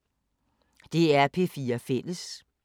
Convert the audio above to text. DR P4 Fælles